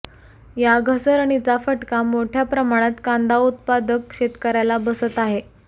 या घसरणीचा फटका मोठ्या प्रमाणात कांदा उत्पादक शेतकर्याला बसत आहे